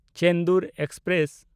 Chendur express